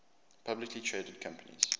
publicly traded companies